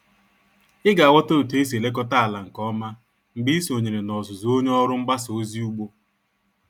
Ị ga-aghota otu esi elekọta ala nke ọma mgbe ị sonyere n'ọzụzụ onye ọrụ mgbasa ozi ugbo